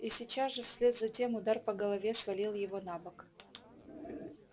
и сейчас же вслед за тем удар по голове свалил его на бок